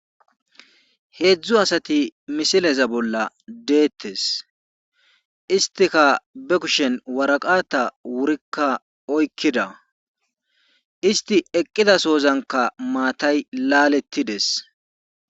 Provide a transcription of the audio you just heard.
heedzdzu asati misileza bolla deettes istika be kushen waraqata wurikka oykkida isti eqqidasoozanka maatay laalettides